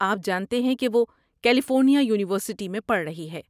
آپ جانتے ہیں کہ وہ کیلیفورنیا یونی ورسٹی میں پڑھ رہی ہے۔